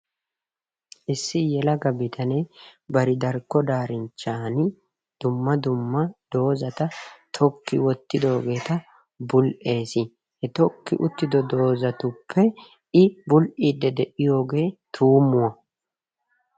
issi yelaga bitanee bari darkko daarinchchan dumma dumma dozata tokki wotidoogeeta bul'ees, he tokki uttido dozatuppe i bul'iidi de'iyoogee tuumuwa.